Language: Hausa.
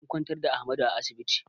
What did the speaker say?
An kwantar da Ahmadu a asibiti